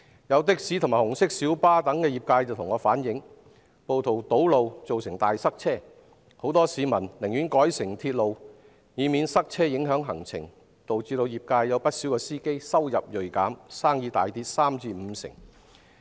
有的士和紅色小巴業者向我反映，暴徒堵路造成大塞車，很多市民為免影響行程，寧願改乘鐵路，導致不少業界司機收入銳減，生意大跌三至五成。